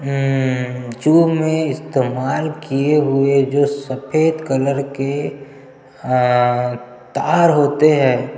उम उम जू में इस्तेमाल किये हुए जो सफ़ेद कलर के हा तार होते है।